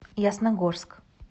ясногорск